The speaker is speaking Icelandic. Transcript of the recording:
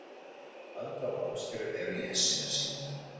Alda og Ásgerður eru í essinu sínu.